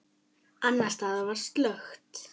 Annars staðar var slökkt.